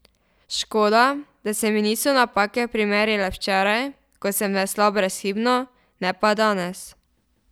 Škoda, da se mi niso napake primerile včeraj, ko sem veslal brezhibno, ne pa danes.